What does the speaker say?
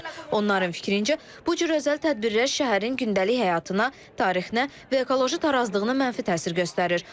Onların fikrincə, bu cür özəl tədbirlər şəhərin gündəlik həyatına, tarixinə, ekoloji tarazlığına mənfi təsir göstərir.